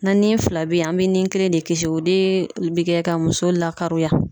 Na ni fila be yen, an be ni kelen de kisi . O de be kɛ ka muso lakaroya.